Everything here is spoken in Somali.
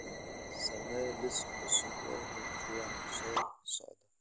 samee liis cusub oo leh kuwan soo socda